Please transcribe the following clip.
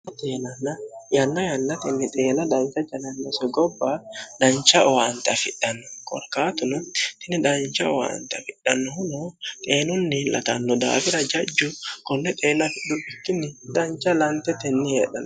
yanna yannatinni xeela danta janannose gobba dancha owaanxe afidhanno gorkaatuno tini dancha owaanxe afidhannohuno xeenunni latanno daafira jajju konne xeelduikkinni dancha lantetenni heedhnn